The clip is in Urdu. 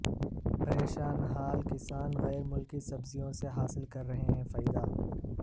پریشان حال کسان غیرملکی سبزیوں سے حاصل کر رہے فائدہ